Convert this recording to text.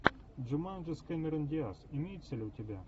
джуманджи с кэмерон диаз имеется ли у тебя